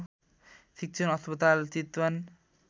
शिक्षण अस्पताल चितवन